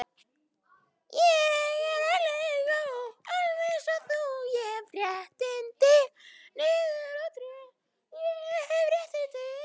Svenni og Klara borða samlokurnar í rólegheitum og ræða margt.